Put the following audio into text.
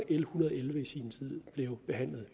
en hundrede og elleve i sin tid blev behandlet